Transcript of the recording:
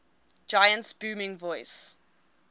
giant's booming voice